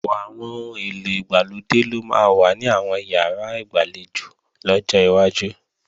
Ọ̀pọ̀ àwọn ohun èlò ìgbàlódé ló máa wà ní àwọn ìyàrá ìgbàlejò lọ́jọ́ iwájú